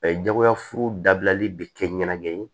jagoyafuru dabilali bɛ kɛ ɲɛnagɛn ye